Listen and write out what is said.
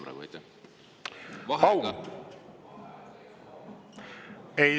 Pausi?